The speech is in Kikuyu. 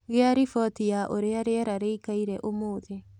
Gia riboti ya uria rĩera rĩĩkaĩre ũmũthĩ